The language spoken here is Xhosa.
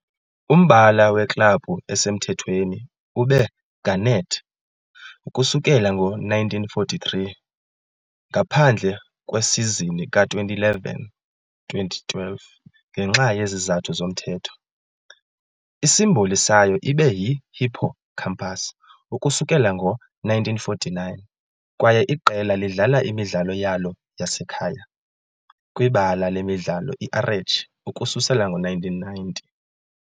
Umbala weklabhu esemthethweni ube garnet ukusukela ngo-1943, ngaphandle kwesizini ka-2011-2012, ngenxa yezizathu zomthetho, isimboli sayo ibe yihippocampus ukusukela ngo-1949, kwaye iqela lidlala imidlalo yalo yasekhaya. kwibala lemidlalo iArechi ukususela ngo-1990.